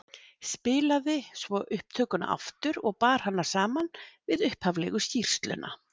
Spilaði svo upptökuna aftur og bar hana saman við upphaflegu skýrsluna.